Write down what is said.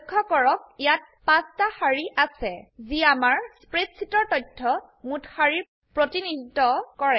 লক্ষ্য কৰক ইয়াত 5টা সাৰি আছে যি আমাৰ স্প্ৰেডশীটৰ তথ্যৰ মোট সাৰিৰ প্ৰতিনিধিত্ব কৰে